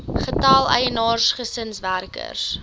getal eienaars gesinswerkers